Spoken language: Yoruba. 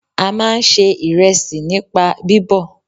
A máà ń ṣe ìrẹsì nípa bíbọ̀.